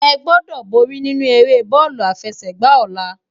Egbòdò bòri ninú éré bólú àfèsègbá òlá